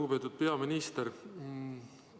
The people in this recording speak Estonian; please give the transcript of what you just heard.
Lugupeetud peaminister!